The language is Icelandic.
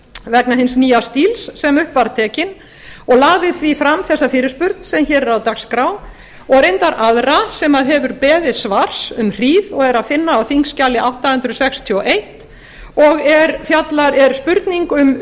vegna hins nýja stíls sem upp var tekinn og lagði því fram þessa fyrirspurn sem hér er á dagskrá og reyndar aðra sem hefur beðið svars um hríð og er að finna á þingskjali átta hundruð sextíu og eins og er spurning um